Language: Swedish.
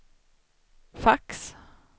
fax